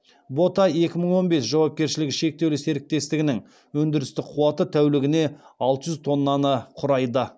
бота екі мың он бес жауапкершілігі шектеулі серіктестігінің өндірістік қуаты тәулігіне алты жүз тоннаны құрайды